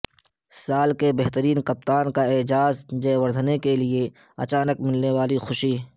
سال کے بہترین کپتان کا اعزاز جے وردھنے کے لیے اچانک ملنے والی خوشی